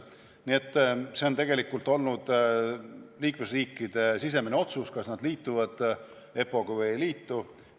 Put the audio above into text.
Nii et see on tegelikult olnud liikmesriikide sisemine otsus, kas nad liituvad EPPO-ga või ei liitu.